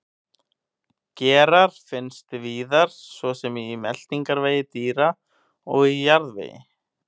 Gerar finnast víðar svo sem í meltingarvegi dýra og í jarðvegi.